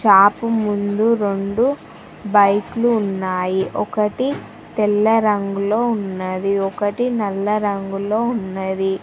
Shop ముందు రెండు బైకులు ఉన్నాయి ఒకటి తెల్ల రంగులో ఉన్నది ఒకటి నల్ల రంగులో ఉన్నది.